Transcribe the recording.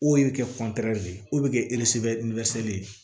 O de bɛ kɛ de ye o bɛ kɛ ye